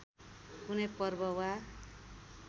कुनै पर्व वा